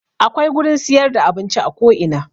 Akwai gurin siyar da abinci a ko ina